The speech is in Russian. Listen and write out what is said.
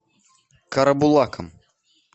карабулаком